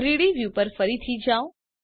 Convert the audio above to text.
3ડી વ્યૂ પર ફરીથી જાઓ